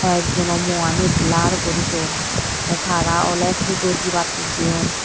hoik jono muani blur guri don tey taro oley pujo dibattey jeyon.